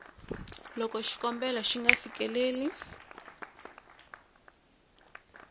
loko xikombelo xi nga fikeleli